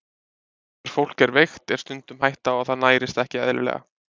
Þegar fólk er veikt er stundum hætta á að það nærist ekki eðlilega.